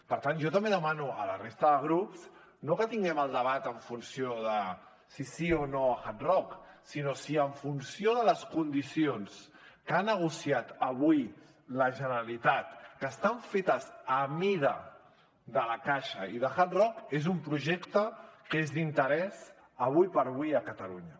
per tant jo també demano a la resta de grups no que tinguem el debat en funció de si sí o no a hard rock sinó si en funció de les condicions que ha negociat avui la generalitat que estan fetes a mida de la caixa i de hard rock és un projecte que és d’interès ara per ara a catalunya